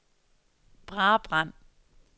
Brabrand